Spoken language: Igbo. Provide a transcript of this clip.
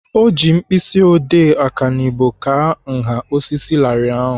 Ọ ji mkpịsị odee ọkanibo kaa nha osisi larịị ahụ.